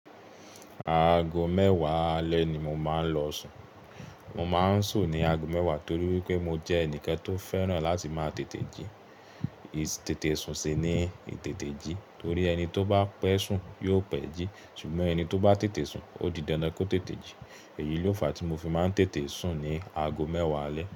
Aago mẹ́wàá alẹ́ ni mo máa ń lọ sùn. Mo máa ń sùn ní aago mẹ́wàá torí wípé mo jẹ́ ẹnìkan tó fẹ́ràn láti máa tètè jí. Itètè sùn sì ni itètè jí torí ẹni tó bá pẹ́ sùn yóò pẹ́ jí. Ṣùgbọ́n ẹni tó bá tètè sùn ó di dandan kó tètè jí. Èyí ló fa tí mo fi máa ń tètè sùn ní aago mẹ́wàá alẹ́.